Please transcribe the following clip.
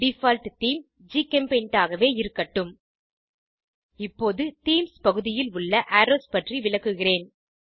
default theme ஜிசெம்பெயிண்ட் ஆகவே இருக்கட்டும் இப்போது தீம்ஸ் பகுதியில் உள்ள அரோவ்ஸ் பற்றி விளக்குகிறேன்